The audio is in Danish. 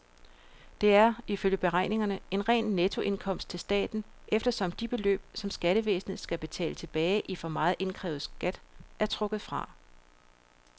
Det er, ifølge beregningerne, en ren nettoindkomst til staten, eftersom de beløb, som skattevæsenet skal betale tilbage i for meget indkrævet skat, er trukket fra.